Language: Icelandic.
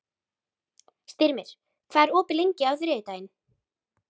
Styrmir, hvað er opið lengi á þriðjudaginn?